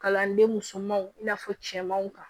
Kalanden musomanw i n'a fɔ cɛmanw kan